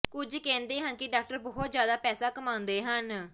ਕੁਝ ਕਹਿੰਦੇ ਹਨ ਕਿ ਡਾਕਟਰ ਬਹੁਤ ਜ਼ਿਆਦਾ ਪੈਸਾ ਕਮਾਉਂਦੇ ਹਨ